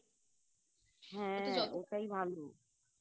হ্যা ওটাই ভালো